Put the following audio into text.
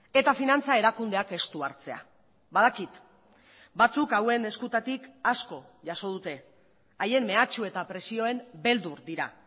eta finantza erakundeak estu hartzea badakit batzuk hauen eskutatik asko jaso dute haien mehatxu eta presioen beldur dira